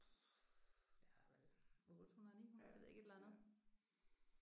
Der er vel 800 900 det ved jeg ikke et eller andet